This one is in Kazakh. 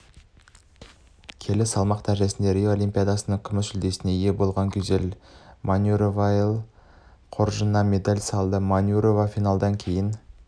келі салмақ дәрежесінде рио олимпиадасының күміс жүлдесіне ие болғангюзель манюроваел қоржынына медалді салды манюрова финалдан кейін